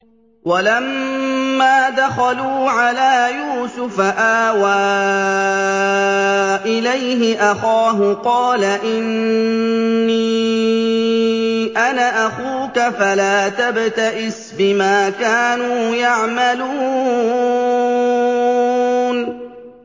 وَلَمَّا دَخَلُوا عَلَىٰ يُوسُفَ آوَىٰ إِلَيْهِ أَخَاهُ ۖ قَالَ إِنِّي أَنَا أَخُوكَ فَلَا تَبْتَئِسْ بِمَا كَانُوا يَعْمَلُونَ